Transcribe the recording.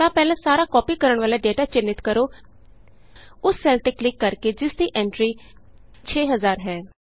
ਤਾਂ ਪਹਿਲਾਂ ਸਾਰਾ ਕਾਪੀ ਕਰਨ ਵਾਲਾ ਡੇਟਾ ਚਿੰਨ੍ਹਿਤ ਕਰੋ ਉਸ ਸੈੱਲ ਤੇ ਕਲਿਕ ਕਰ ਕੇ ਜਿਸ ਵਿਚ ਐਂਟਰੀ 6000 ਹੈ